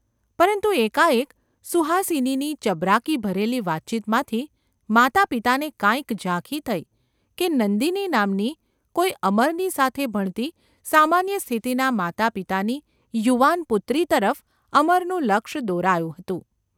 પરંતુ એકાએક સુહાસિનીની ચબરાકી ભરેલી વાતચીતમાંથી માતાપિતાને કાંઈક ઝાંખી થઈ કે નંદિની નામની કોઈ અમરની સાથે ભણતી સામાન્ય સ્થિતિનાં માતાપિતાની યુવાન પુત્રી તરફ અમરનું લક્ષ દોરાયું હતું.